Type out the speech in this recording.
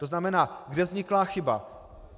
To znamená, kde vznikla chyba.